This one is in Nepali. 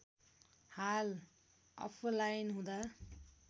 हाल अफलाईन हुँदा